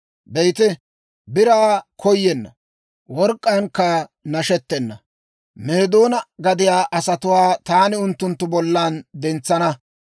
Be'ite, biraa koyenna, work'k'aankka nashettena Meedoona gadiyaa asatuwaa taani unttunttu bollan dentsana.